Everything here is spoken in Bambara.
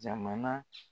Jamana